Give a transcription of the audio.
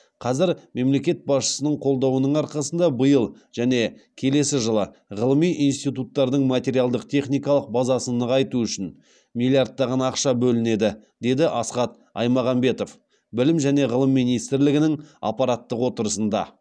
қазір мемлекет басшысының қолдауының арқасында биыл және келесі жылы ғылыми институттардың материалдық техникалық базасын нығайту үшін миллиардтаған ақша бөлінеді деді асхат аймағамбетов білім және ғылым министрлігінің аппараттық отырысында